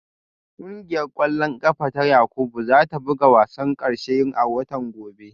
Kungiyar kwallon kafa ta Yakubu za ta buga wasan karshe a watan gobe